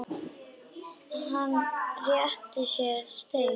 Hann réttir mér stein.